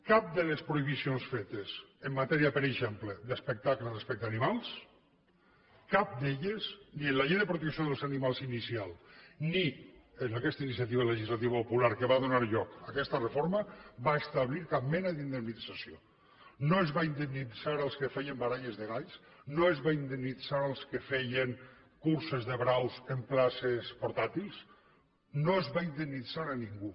cap de les prohibicions fetes en matèria per exemple d’espectacles respecte a animals cap d’elles ni la llei de protecció dels animals inicial ni aquesta iniciativa legislativa popular que va donar lloc a aquesta reforma va establir cap mena d’indemnització no es va indemnitzar els que feien baralles de galls no es va indemnitzar els que feien curses de braus en places portàtils no es va indemnitzar a ningú